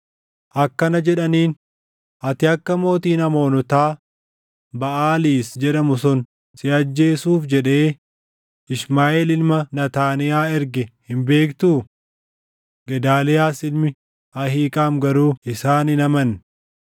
akkana jedhaniin; “Ati akka mootiin Amoonotaa Baʼaaliis jedhamu sun si ajjeesuuf jedhee, Ishmaaʼeel ilma Naataaniyaa erge hin beektuu?” Gedaaliyaas ilmi Ahiiqaam garuu isaan hin amanne.